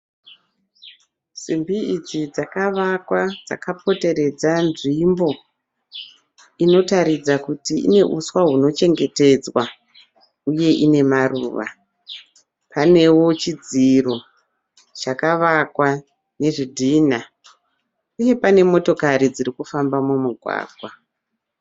Simbi idzi dzakavakwa dzakapoteredza nzvimbo inoratidza kuti ine uswa hunochengetedzwa , uye ine maruva. Panewo chidziro chakavakwa nezvidhina, uye pane motokari dziri kufamba mumugwagwa.